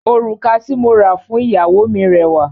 Òrùka tí mo ra fún ìyàwó mi rẹwà.